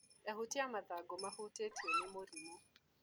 Ehutia mathangũ mahutĩtio nĩ mũrimũ.